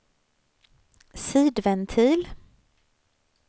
sidventil